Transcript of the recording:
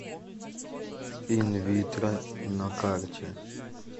инвитро на карте